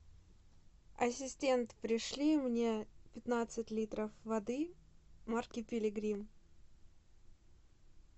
ассистент пришли мне пятнадцать литров воды марки пилигрим